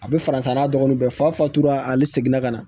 A bɛ faransa n'a dɔgɔninw bɛɛ fatula ale seginna ka na